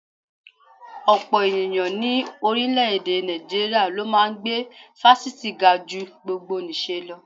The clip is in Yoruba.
Ọ̀pọ̀ ènìyàn ní orílẹ̀-èdè Nàìjíríà ló máa ń gbé fásitì ga ju gbogbonìṣe lọ